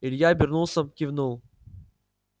илья обернулся кивнул